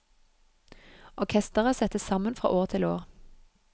Orkestret settes sammen fra år til år.